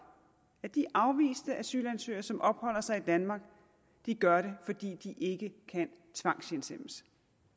at de afviste asylansøgere som opholder sig i danmark gør det fordi de ikke kan tvangshjemsendes